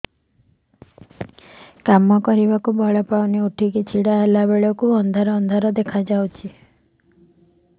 କାମ କରିବାକୁ ବଳ ପାଉନି ଉଠିକି ଛିଡା ହେଲା ବେଳକୁ ଅନ୍ଧାର ଅନ୍ଧାର ଦେଖା ଯାଉଛି